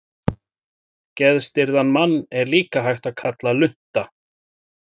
Geðstirðan mann er líka hægt að kalla lunta.